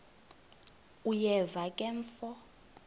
uyeva ke mfo